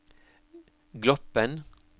Gloppen